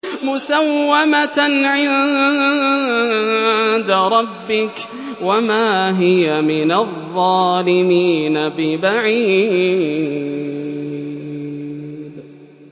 مُّسَوَّمَةً عِندَ رَبِّكَ ۖ وَمَا هِيَ مِنَ الظَّالِمِينَ بِبَعِيدٍ